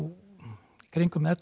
kringum ellefu